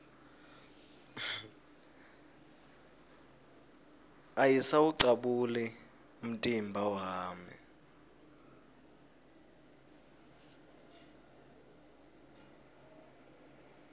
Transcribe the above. ayisawucabuli umtimba wami